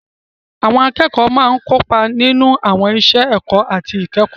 Àwọn akẹ́kọ̀ọ́ máa ń kópa nínú àwọn iṣẹ́ ẹ̀kọ́ àti ìkẹ́kọ̀ọ́.